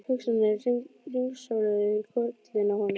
Hugsanirnar hringsóluðu í kollinum á honum.